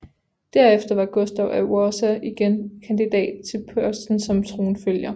Derefter var Gustav af Wasa igen kandidat til posten som tronfølger